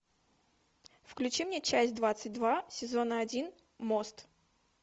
включи мне часть двадцать два сезона один мост